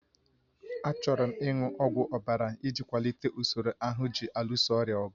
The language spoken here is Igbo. Achọrọ m ịṅụ ọgwụ ọbara iji kwalite usoro ahụ ji alụso ọrịa ọgụ